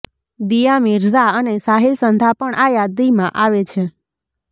દિયા મિર્ઝા અને સાહિલ સંધા પણ આ યાદીમાં આવે છે